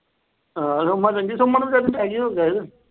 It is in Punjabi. ਹਾਂ, ਸੋਮਾ ਚੰਗੀ ਸੀ, ਸੋਮਾ ਨੂੰ ਵਿਚਾਰੀ ਨੂੰ attack ਹੀ ਹੋ ਗਿਆ ਸੀ।